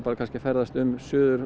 að ferðast um